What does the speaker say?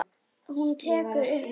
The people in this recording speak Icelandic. Hún tekur upp reipið.